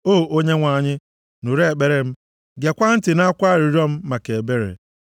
O Onyenwe anyị, nụrụ ekpere m; gekwaa ntị nʼakwa arịrịọ m maka ebere.